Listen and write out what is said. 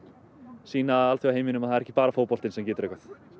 sýna alþjóðaheiminum að það er ekki bara fótboltinn sem getur eitthvað